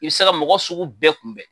I œ se ka mɔgɔ sugu bɛɛ kunbɛn